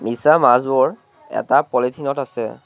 মিছা মাছবোৰ এটা পলিথিন ত আছে।